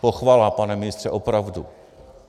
Pochvala, pane ministře, opravdu.